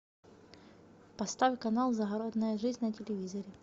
поставь канал загородная жизнь на телевизоре